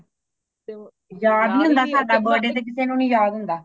ਯਾਦ ਨਹੀਂ ਹੋਂਦ , ਸਾਡਾ birthday ਤੇ ਕਿਸੇ ਨੂੰ ਨਹੀਂ ਯਾਦ ਨਹੀਂ ਹੋਂਦ